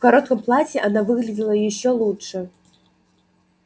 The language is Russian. в коротком платье она выглядела ещё лучше